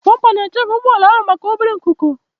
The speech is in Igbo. Bọmpa na-echebe ụgbọ ala ahụ maka obere nkuko.